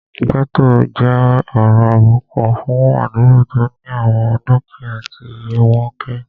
Gẹ́ẹ́tò jẹ́ ọ̀rọ̀ àbùkù fún àdúgbò tó ní àwọn dúkìyá tí iye wọ́n kéré